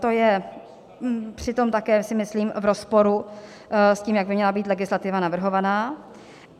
To je přitom také si myslím v rozporu s tím, jak by měla být legislativa navrhovaná.